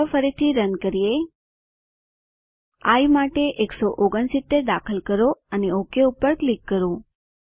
ચાલો ફરીથી રન કરીએ આઇ માટે 169 દાખલ કરો અને ઓક પર ક્લિક કરો